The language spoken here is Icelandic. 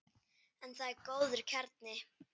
En það er góður kjarni.